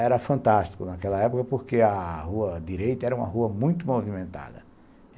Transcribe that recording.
Era fantástico naquela época, porque a Rua Direita era uma rua muito movimentada.